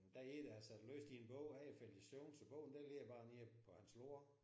Der er en der har siddet og læst i en bog han er faldet i søvn så bogen den ligger bare nede på hans lår